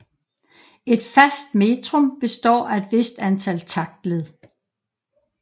Et fast metrum består af et vist antal taktled